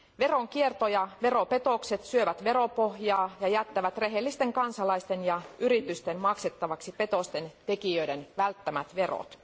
Veronkierto ja veropetokset syövät veropohjaa ja jättävät rehellisten kansalaisten ja yritysten maksettavaksi petosten tekijöiden välttämät verot.